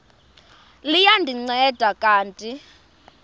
liya ndinceda kanti